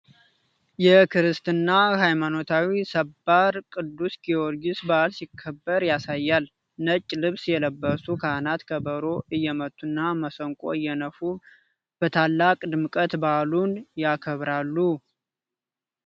የክርስትና ሃይማኖታዊ ሰባር ቅዱስ ጊዮርጊስ በዓል ሲከበር ያሳያል። ነጭ ልብስ የለበሱ ካህናት፣ ከበሮ እየመቱና መሰንቆ እየነፉ በታላቅ ድምቀት በዓሉን ያከብራሉ።